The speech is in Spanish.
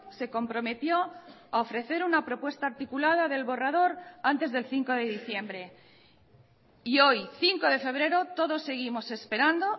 se comprometió a ofrecer una propuesta articulada del borrador antes del cinco de diciembre y hoy cinco de febrero todos seguimos esperando